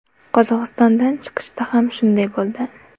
Qozog‘istondan chiqishda ham shunday bo‘ldi.